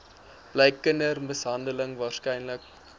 bly kindermishandeling waarskynlik